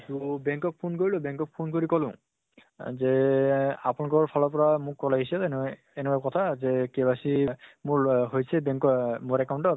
তʼ bank ক phone কৰিলো, bank ক phone কৰি কলো আ যে আপোনালোকৰ ফালৰ পৰা মোক call আহিছিল। এনুৱা এনেকুৱা কথা যে KYC মোৰ ল হৈছে bank অহ মোৰ account ত